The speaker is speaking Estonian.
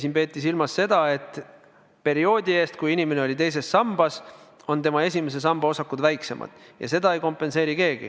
Siin peeti silmas seda, et perioodi eest, kui inimene oli teises sambas, olid tema esimese samba osakud väiksemad, ja seda ei kompenseeri keegi.